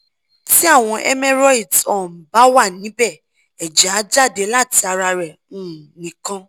ti awọn cs] hemorrhoids um ba wa nibe ẹjẹ a jade lati ara re um nikan